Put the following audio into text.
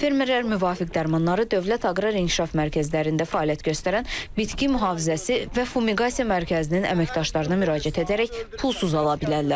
Fermerlər müvafiq dərmanları Dövlət Aqrar İnkişaf mərkəzlərində fəaliyyət göstərən bitki mühafizəsi və fumigasiya mərkəzinin əməkdaşlarına müraciət edərək pulsuz ala bilərlər.